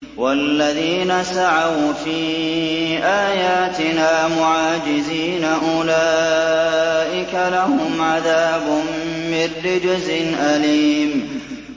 وَالَّذِينَ سَعَوْا فِي آيَاتِنَا مُعَاجِزِينَ أُولَٰئِكَ لَهُمْ عَذَابٌ مِّن رِّجْزٍ أَلِيمٌ